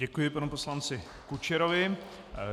Děkuji panu poslanci Kučerovi.